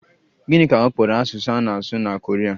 Gịnị ka ọ kpọrọ asụsụ a na-asụ na Koria?